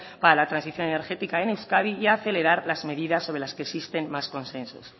para la transición energética en euskadi y acelerar las medidas sobre las que existen más consensos